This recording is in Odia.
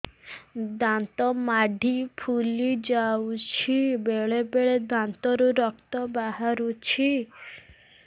ଦାନ୍ତ ମାଢ଼ି ଫୁଲି ଯାଉଛି ବେଳେବେଳେ ଦାନ୍ତରୁ ରକ୍ତ ବାହାରୁଛି